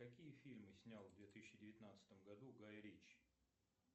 какие фильмы снял в две тысячи девятнадцатом году гай ричи